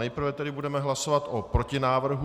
Nejprve tedy budeme hlasovat o protinávrhu...